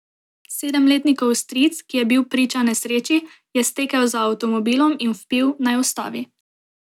Sedemletnikov stric, ki je bil priča nesreči, je stekel za avtomobilom in vpil, naj ustavi.